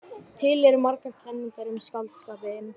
Til eru margar kenningar um skáldskapinn.